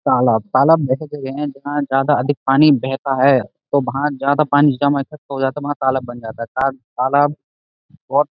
तालाब तालाब ऐसे जगह हैं जहां जादा अधिक पानी बहता है तो वहाँ जादा पानी जमा हो जाता है वहाँ तालाब बन जाता है। तालाब बहुत --